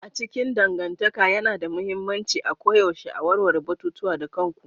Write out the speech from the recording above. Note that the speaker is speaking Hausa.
A cikin dangantaka yana da mahimmanci a koyaushe a warware batutuwa da kanku.